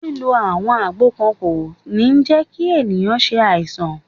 Lílo àwọn àgbo kan kò ní jẹ́ kí ẹ̀yàn ṣe àìsàn.